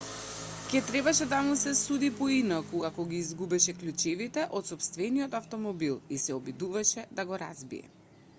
ќе требаше да му се суди поинаку ако ги изгубеше клучевите од сопствениот автомобилот и се обидеше да го разбие